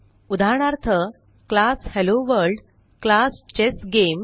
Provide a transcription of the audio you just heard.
उदाहरणार्थ class hello world class chess game